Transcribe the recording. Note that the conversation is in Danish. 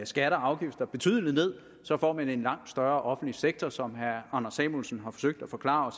skatter og afgifter betydeligt ned så får man en langt større offentlig sektor som herre anders samuelsen har forsøgt at forklare